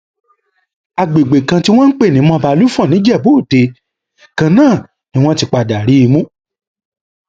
àgbègbè kan tí wọn ń pè ní mobalufọn nìjẹbù òde kan náà ni wọn ti padà rí i mú